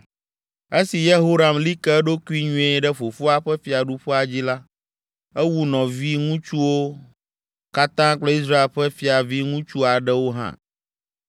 Esi Yehoram li ke eɖokui nyuie ɖe fofoa ƒe fiaɖuƒea dzi la, ewu nɔviŋutsuwo katã kple Israel ƒe fiaviŋutsu aɖewo hã.